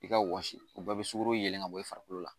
I ka wɔsi u bɛɛ bɛ sukoro yeelen ka bɔ i farikolo la.